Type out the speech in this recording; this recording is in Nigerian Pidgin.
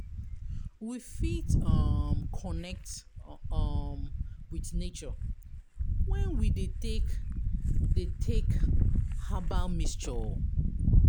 We fit um connect um with nature when we dey take de take herbal mixture o